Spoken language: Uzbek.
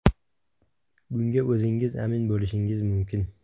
Bunga o‘zingiz amin bo‘lishingiz mumkin.